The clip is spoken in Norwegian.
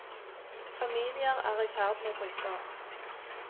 Familier er i ferd med å bryte opp.